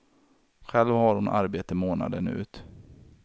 Själv har hon arbete månaden ut.